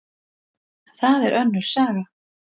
En það er önnur saga.